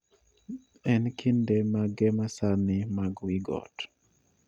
En kinde mage masani mag wigot